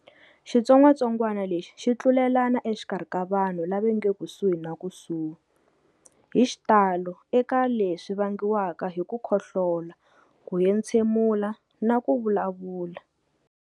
Xitsongwatsongwana lexi xi tlulelana exikarhi ka vanhu lava nge kusuhi na kusuhi, hixitalo eka swisa leswi vangiwaka hi ku khohlola, ku etshemula, na kuvulavula.